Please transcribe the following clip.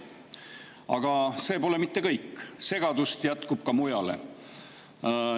Aga see pole mitte kõik, segadust jätkub ka mujale.